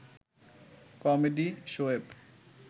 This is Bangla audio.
কমেডি শোয়ের